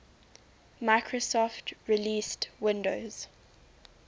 microsoft released windows